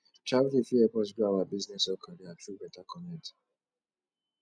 travelling fit help us grow our business or career through beta connect